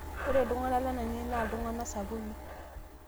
ore iltung'anak lainei naa iltunganak sapuki